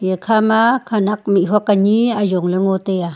eya kha ma khanak mih huak ani ajong ley ngo taiya.